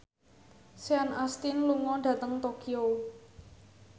Sean Astin lunga dhateng Tokyo